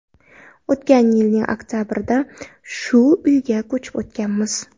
O‘tgan yilning oktabrida shu uyga ko‘chib o‘tganmiz.